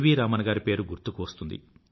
రామన్ గారి పేరు గుర్తుకు వస్తుంది